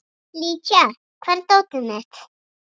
Lydia, hvar er dótið mitt?